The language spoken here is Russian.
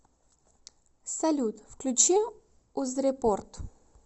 салют включи узрепорт